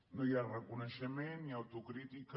no hi ha reconeixement ni autocrítica